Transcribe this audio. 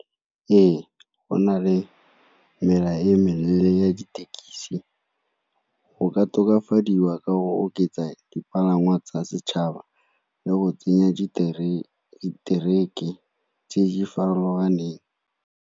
Ee, go na le mela e meleele ya ditekisi, go ka tokafadiwa ka go oketsa dipalangwa tsa setšhaba le go tsenya tse di farologaneng.